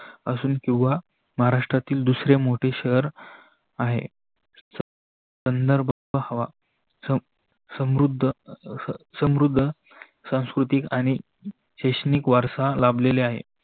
असून किवा महाराष्ट्रातील दूसरे मोठे शहर आहे. संदर्भ हवा समृद्ध सांस्कृतिक आणि शैक्षणिक वारसा लाभलेला आहे.